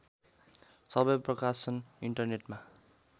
सबै प्रकाशन इन्टरनेटमा